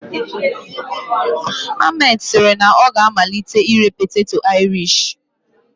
Ahmed siri na ọ ga-amalite ire poteto Irish